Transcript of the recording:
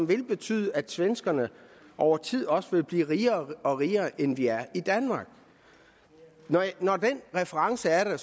vil betyde at svenskerne over tid også vil blive rigere og rigere end vi er i danmark når den reference er der